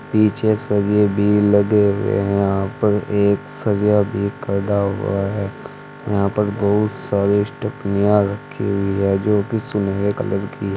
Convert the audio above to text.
पीछे सरिए भी लगे हुए हैं यहां पर भी एक सरिया भी खड़ा हुआ है यहां पर बहुत सारे स्टेपनियां रखी हुई है जोकि सुनहरे कलर की--